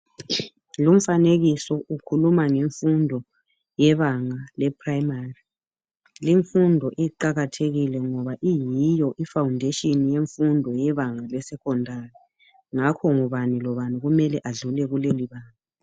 Lomfanekiso ukhuluma ngemfundo yebanga le'primary'. Lefundo iqakathekile ngoba iyiyo I faundesheni yefundo lebanga le'secondary '. Ngakho ngubani lobani kumele adlule kulelo banga.